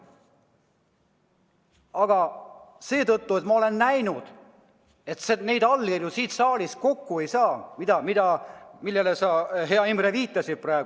Aga ma olen näinud, et neid allkirju, millele sa, hea Imre, viitasid, praegu siit saalist kokku ei saa.